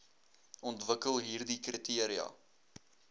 ontwikkel hieride kriteria